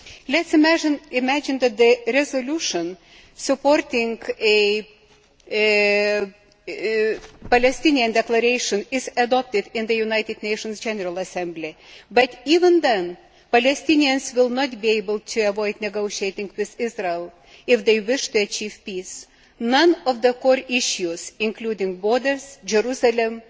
Let us imagine that the resolution supporting a Palestinian declaration is adopted in the United Nations General Assembly. Even then, Palestinians would not be able to avoid negotiating with Israel if they wish to achieve peace. None of the core issues, including borders, Jerusalem,